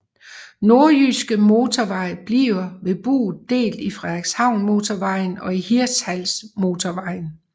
Nordjyske Motorvej bliver ved Bouet delt i Frederikshavnmotorvejen og Hirtshalsmotorvejen